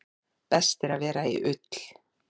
Best er að vera í ull.